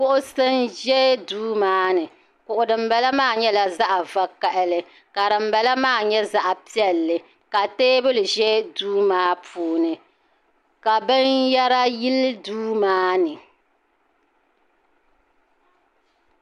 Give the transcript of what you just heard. Kuɣusi n zɛ duu maa ni kuɣu dini bala maa nyɛla zaɣi vakahali ka dini bala maa nyɛ zaɣi piɛlli ka tɛɛbuli zɛ duu maa puuni ka bini yara yili duu maa ni.